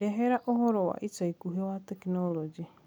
ndehera ũhoro wa ica ĩkũhĩ wa tekinoronjĩ